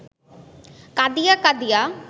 কাঁদিয়া কাঁদিয়া